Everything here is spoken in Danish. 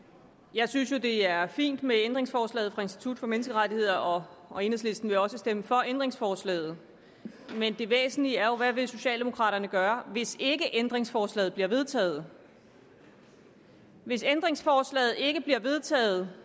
jeg synes jo det er fint med ændringsforslaget fra institut for menneskerettigheder og og enhedslisten vil også stemme for ændringsforslaget men det væsentlige er jo hvad socialdemokraterne vil gøre hvis ændringsforslaget ikke bliver vedtaget hvis ændringsforslaget ikke bliver vedtaget